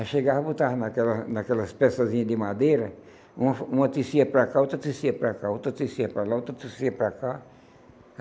Aí chegava, botava naquela naquelas peçasinhas de madeira, uma uma tecia para cá, outra tecia para cá, outra tecia para lá, outra tecia para cá.